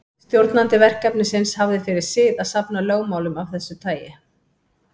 Stjórnandi verkefnisins hafði fyrir sið að safna lögmálum af þessu tagi.